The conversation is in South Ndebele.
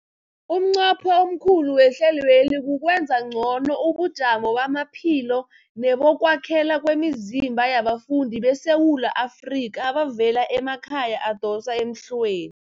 Umnqopho omkhulu wehlelweli kukwenza ngcono ubujamo bamaphilo nebokwakhela kwemizimba yabafundi beSewula Afrika abavela emakhaya adosa emhlweni.